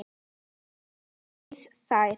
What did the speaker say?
Hér hafið þið þær.